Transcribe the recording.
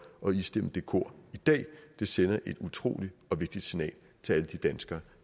at istemme det kor i dag det sender et utrolig vigtigt signal til alle de danskere